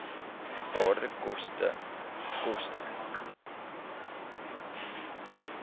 waarde koste koste